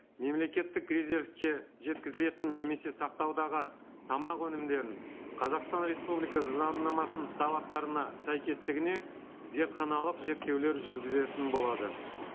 мемлекеттік резервке жеткізілетін немесе сақтаудағы тамақ өңімдерін қазақстан республикасы заңнамасының талаптарына сәйкестігіне зертханалық зерттеулер жүргізетін болады